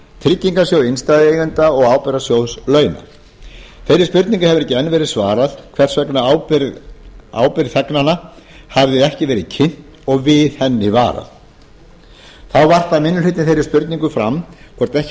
tryggingasjóð innstæðueigenda og ábyrgðasjóð launa þeirri spurningu hefur ekki enn verið svarað hvers vegna ábyrgð þegnanna hafði ekki verið kynnt og við henni varað þá varpar minni hlutinn þeirri spurningu fram hvort ekki